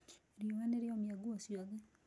Riũa nĩrĩomia nguo ciothe